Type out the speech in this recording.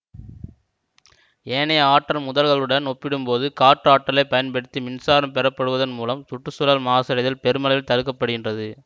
ஏனைய ஆற்றல் முதல்களுடன் ஒப்பிடும் போது காற்று ஆற்றலை பயன்படுத்தி மின்சாரம் பெறப்படுவதன் மூலம் சுற்று சூழல் மாசடைதல் பெருமளவில் தடுக்கப்படுகின்றது